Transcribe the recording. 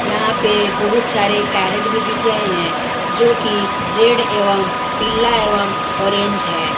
यहां पे बहुत सारे कैरेट भी दिख रहे हैं जो कि रेड एवं पीला एवं ऑरेंज है ।